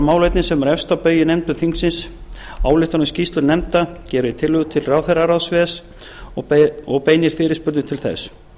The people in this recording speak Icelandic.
málefni sem eru efst á baugi í nefndum þingsins ályktanir skýrslu nefnda gerir tillögur til ráðherraráðs ves og beinir fyrirspurnum til þess